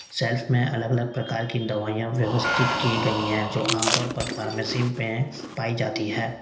Self में अलग अलग प्रकार की दवाईयां व्यवस्थित की गई हैं जो आमतौर पर फार्मेसी म में पाई जाती है।